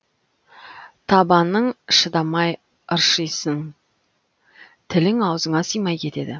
табаның шыдамай ыршисың тілің аузыңа симай кетеді